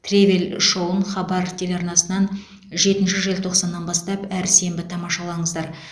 тревель шоуын хабар телеарнасынан жетінші желтоқсаннан бастап әр сенбі тамашалаңыздар